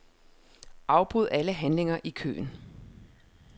Afbryd alle handlinger i køen.